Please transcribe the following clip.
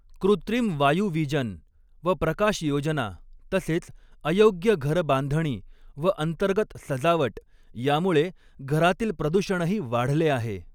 कृत्रिम वायुवीजन व प्रकाशयोजना तसेच अयोग्य घरबांधणी व अंतर्गत सजावट यामुळे घरातील प्रदूषणही वाढले आहे.